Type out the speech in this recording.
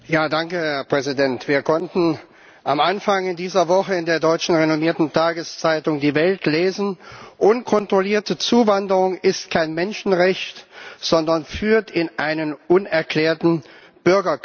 Herr Präsident! Wir konnten am Anfang dieser Woche in der renommierten deutschen Tageszeitung Die Welt lesen Unkontrollierte Zuwanderung ist kein Menschenrecht, sondern führt in einen unerklärten Bürgerkrieg.